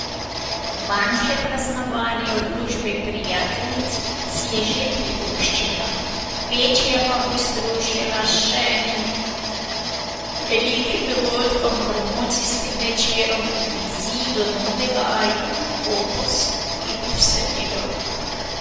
Manjše praznovanje v družbi prijateljic si je že privoščila, večje pa bo združila s še enim velikim dogodkom, promocijskim večerom ob izidu novega albuma Opus, ki bo v sredo.